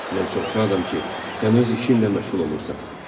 Mən çox şadam ki, sən öz işinlə məşğul olursan.